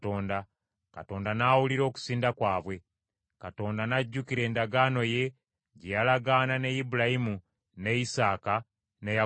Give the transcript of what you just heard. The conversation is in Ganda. Katonda n’awulira okusinda kwabwe. Katonda n’ajjukira endagaano ye gye yalagaana ne Ibulayimu, ne Isaaka ne Yakobo.